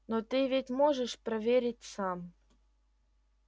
но ты ведь можешь проверить сам